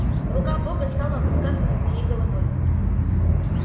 рука бога стала опускаться над моей головой